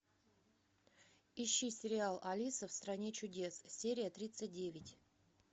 ищи сериал алиса в стране чудес серия тридцать девять